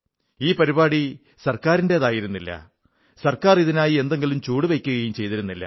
ഈ പരിപാടി സർക്കാരിന്റേതായിരുന്നില്ല സർക്കാർ ഇതിനായി എന്തെങ്കിലും ചുവടുവയ്ക്കുകയും ചെയ്തിരുന്നില്ല